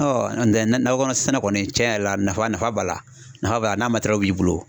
n'o tɛ nakɔ sɛnɛ kɔni tiɲɛ yɛrɛ la nafa nafa b'a la nafa b'a la n'a matɛrɛliw b'i bolo.